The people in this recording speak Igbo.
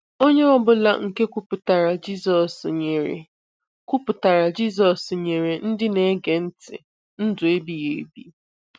Onye ọbụla nke kwupụtara Jizọs nyere kwupụtara Jizọs nyere ndị na-ege ntị ndụ ebighi ebi.